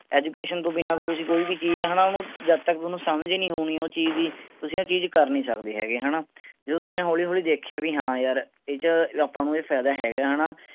ਬਿਨਾ ਤਾਂ ਤੁਸੀਂ ਕੋਈ ਵੀ ਚੀਜ਼ ਹੈਨਾ ਓਹਨੂੰ ਜਦ ਤਕ ਓਹਨੂੰ ਸਮਝ ਨੀ ਆਉਣੀ ਉਹ ਚੀਜ਼ ਦੀ ਤੁਸੀਂ ਉਹ ਚੀਜ਼ ਕਰ ਨੀ ਸਕਦੇ ਹੈਗੇ ਹੈਨਾ ਜਿਵੇਂ ਤੁਹਾਨੂੰ ਹੌਲੀ ਹੌਲੀ ਦੇਖਿਆ ਵੀ ਹਾਂ ਯਾਰ ਇਹਦੇ ਚ ਆਪਾਂ ਨੂੰ ਕੋਈ ਫਾਇਦਾ ਹੈਗਾ ਐ ਹੈਨਾ